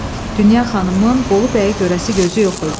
Dünya xanımın Bolu bəyə görəsi gözü yox idi.